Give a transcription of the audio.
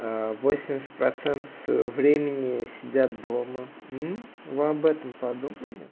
восемьдесят процентов своего времени сидят дома вы об этом подумали